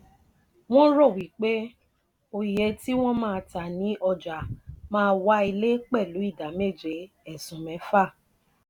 wọn ro wí pé òye tí wọn má tá ni ọjà má wá ilé pelu idà méje esun mefa